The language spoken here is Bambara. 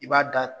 I b'a da